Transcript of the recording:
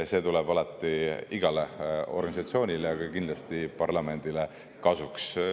See tuleb alati igale organisatsioonile ja kindlasti ka parlamendile kasuks.